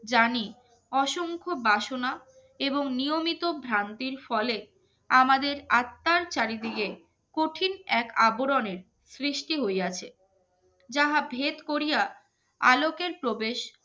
জানি অসংখ্য বাসনা এবং নিয়মিত ভ্রান্তির ফলে আমাদের আত্মার চারিদিকে কঠিন এক আবরণের সৃষ্টি হইয়াছে যাহা ভেদ করিয়া আলোকের প্রবেশ